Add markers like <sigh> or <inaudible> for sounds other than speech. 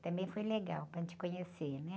Também foi legal para <unintelligible> conhecer, né?